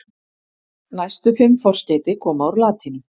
Næstu fimm forskeyti koma úr latínu.